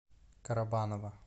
карабаново